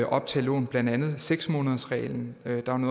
optage lån blandt andet seks månedersreglen